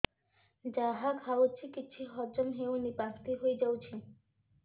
ଯାହା ଖାଉଛି କିଛି ହଜମ ହେଉନି ବାନ୍ତି ହୋଇଯାଉଛି